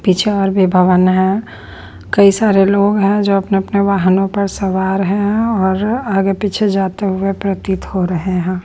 पीछे और भी भवन है कई सारे लोग हैं जो अपने-अपने वाहनों पर सवार हैं और आगे पीछे जाते हुए प्रतीत हो रहे है।